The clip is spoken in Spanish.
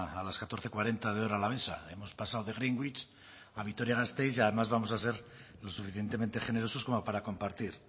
a las catorce cuarenta de hora alavesa hemos pasado de greenwich a vitoria gasteiz y además vamos a ser lo suficientemente generosos como para compartir